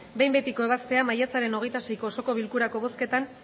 behin betiko ebaztea maiatzaren hogeita seiko osoko bilkurako bozketan